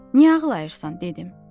Niyə ağlayırsan dedim?